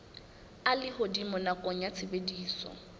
a lehodimo nakong ya tshebediso